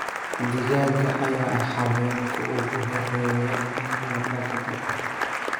Digaagga ayaa ah xayawaanka ugu horreeya ee la dhaqdo.